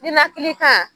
Ninakili kan